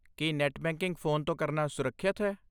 ਕੀ net banking phone ਤੋਂ ਕਰਨਾ ਸੁਰੱਖਿਅਤ ਹੈ?